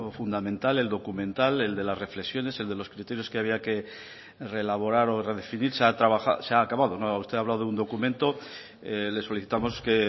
fundamental el documental el de las reflexiones el de los criterios que había que reelaborar o redefinirse se ha acabado usted ha hablado de un documento le solicitamos que